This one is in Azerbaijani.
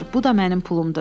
Bu da mənim pulumdur.